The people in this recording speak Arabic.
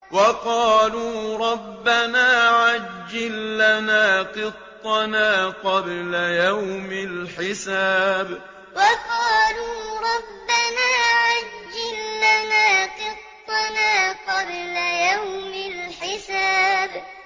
وَقَالُوا رَبَّنَا عَجِّل لَّنَا قِطَّنَا قَبْلَ يَوْمِ الْحِسَابِ وَقَالُوا رَبَّنَا عَجِّل لَّنَا قِطَّنَا قَبْلَ يَوْمِ الْحِسَابِ